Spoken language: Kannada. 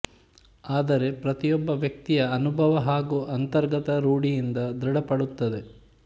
ಆದರೆ ಪ್ರತಿಯೊಬ್ಬ ವ್ಯಕ್ತಿಯ ಅನುಭವ ಹಾಗು ಅಂತರ್ಗತ ರೂಢಿಯಿಂದ ದೃಢಪಡುತ್ತದೆ